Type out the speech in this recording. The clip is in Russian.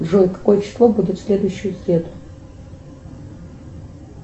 джой какое число будет в следующую среду